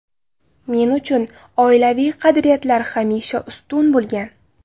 Men uchun oilaviy qadriyatlar hamisha ustun bo‘lgan.